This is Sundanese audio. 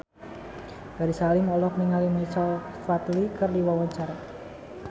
Ferry Salim olohok ningali Michael Flatley keur diwawancara